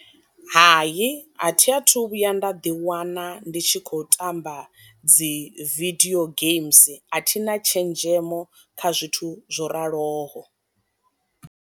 Hayi a thi a thu vhuya nda ḓiwana ndi tshi khou tamba dzi vidio games a thina tshenzhemo kha zwithu zwo raloho.